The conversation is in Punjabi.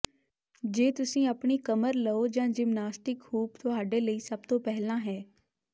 ਜੇ ਤੁਸੀਂ ਆਪਣੀ ਕਮਰ ਲਓ ਤਾਂ ਜਿਮਨਾਸਟਿਕ ਹੂਪ ਤੁਹਾਡੇ ਲਈ ਸਭ ਤੋਂ ਪਹਿਲਾਂ ਹੈ